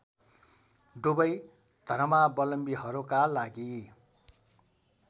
दुवै धर्मावलम्बीहरूका लागि